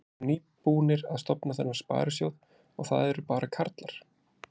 Þið eruð nýbúnir að stofna þennan sparisjóð og það eru bara karlar?